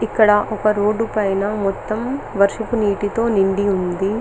ఇక్కడ ఒక రోడ్ పైన వర్షపు నీటితో నిండి ఉంది.